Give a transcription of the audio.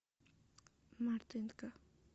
мартынко